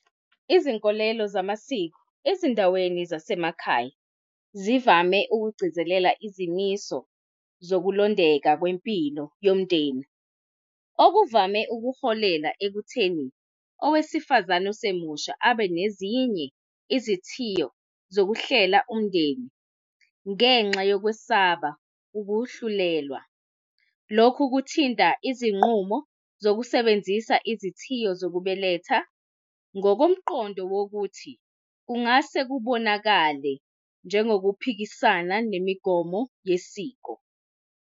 Izinkolelo zamasiko ezindaweni zasemakhaya zivame ukugcizelela izimiso zokulondeka kwempilo yomndeni okuvame ukuholela ekutheni owesifazane osemusha abe nezinye izithiyo zokuhlela umndeni ngenxa yokwesaba ukuhlulelwa. Lokhu kuthinta izinqumo zokusebenzisa izithiyo zokubeletha ngokomqondo wokuthi kungase kubonakale njengokuphikisana nemigomo yesiko.